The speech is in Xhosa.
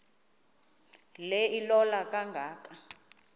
le ilola kangaka